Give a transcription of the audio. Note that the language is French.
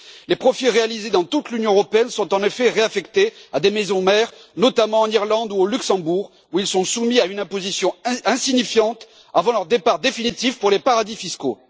Les profits réalisés dans toute l'Union européenne sont en effet réaffectés à des maisons mères, notamment en Irlande ou au Luxembourg, où ils sont soumis à une imposition insignifiante avant leur départ définitif pour les paradis fiscaux.